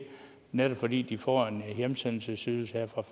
netop fordi de får en hjemsendelsesydelse her fra